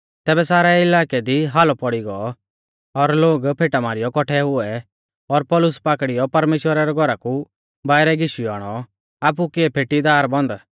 तैबै सारै इलाकै दी हालौ पोड़ी गौ और लोग फेटा मारीयौ कौट्ठै हुऐ और पौलुस पाकड़ीयौ परमेश्‍वरा रै घौरा कु बाइरै घीशियौ आणौ आपु किऐ फेटी दार बन्द